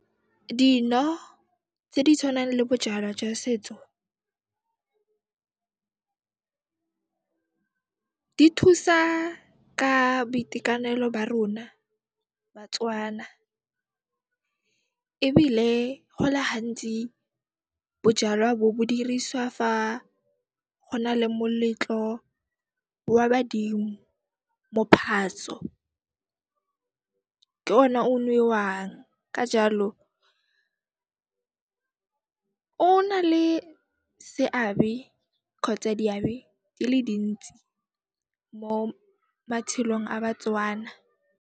Dino tse di tshwanang le bojalwa jwa setso di thusa ka boitekanelo ba rona Batswana ebile gole hantsi bojalwa bo, bo diriswa fa go na le moletlo wa badimo, mophatso ke ona o nwewang. Ka jaalo, o nale seabe kgotsa diabe di le dintsi mo matshelong a Batswana.